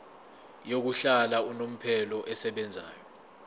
yokuhlala unomphela esebenzayo